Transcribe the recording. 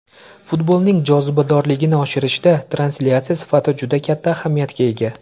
Futbolning jozibadorligini oshirishda translyatsiya sifati juda katta ahamiyatga ega.